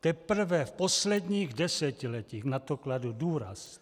Teprve v posledních desetiletích na to kladl důraz.